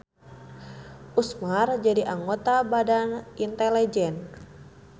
Usmar jadi anggota Badan Inteligen.